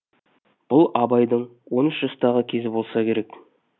бұл абайдың он үш жастағы кезі болса керек